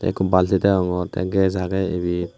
ekku bulti degongor the gas age ibet.